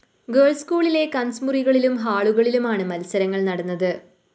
girls സ്‌കൂളിലെ class മുറികളിലും ഹാളുകളിലുമാണ് മത്സരങ്ങള്‍ നടന്നത്